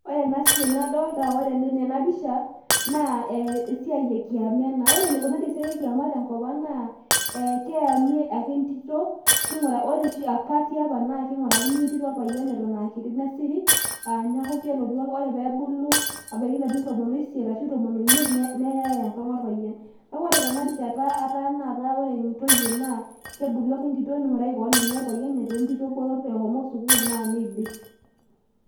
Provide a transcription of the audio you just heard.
ore ena siai nadoolta tena pisha ,naa esiai ekiama ena. ore eneikunari esiai ekiama tenkop ang naa, keyami ake entito, ore oshi apa tiapa, kungurakini entito orpayian eton aakiti nesiri, neeku ore pee ebulu, ebaiki ilarin tomon oisiet arashu ilarin tomon oimiet, neyae enkang orpayian. kake ore tenarishata ore taa kebulu ake ntito ning'uraki kewon orpayian eshomo sukuul naa neidip.